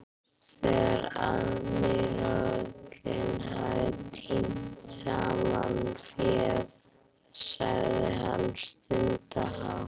Þegar aðmírállinn hafði tínt saman féð sagði hann stundarhátt